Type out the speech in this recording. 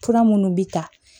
Fura minnu bɛ ta